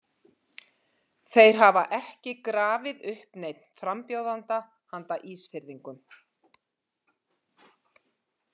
Þeir hafa ekki grafið upp neinn frambjóðanda handa Ísfirðingum.